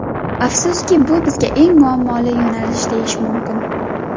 Afsuski, bu bizda eng muammoli yo‘nalish, deyish mumkin.